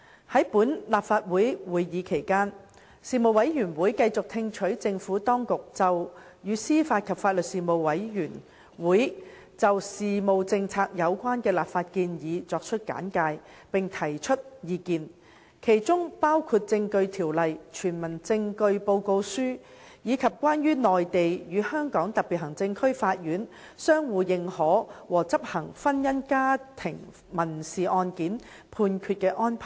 在本立法會會期內，事務委員會繼續聽取政府當局就與司法及法律事務政策有關的立法建議所作的簡介，並提出意見；其中包括《證據條例》、《傳聞證據報告書》，以及"關於內地與香港特別行政區法院相互認可和執行婚姻家庭民事案件判決的安排"等。